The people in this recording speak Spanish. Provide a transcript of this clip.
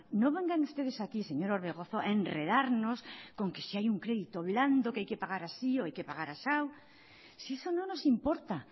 no vengan ustedes aquí señor orbegozo a enredarnos con que si hay un crédito blando que hay que pagar así o hay que pagar asau si eso no nos importa